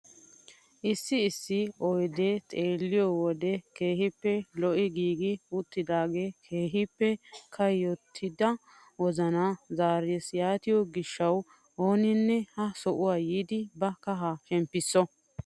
Issi issi oydiyaa xeelliyoo wode keehippe lo"i giigi uttidagee keehippe kayottida wozanaa zarees yaatiyoo gishshawu ooninne ha sohuwaa yiidi ba kahaa shemppiso!